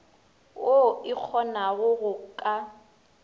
woo e kgonago go ka